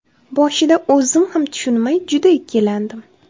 Boshida o‘zim ham tushunmay juda ikkilandim.